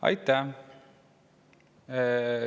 Aitäh!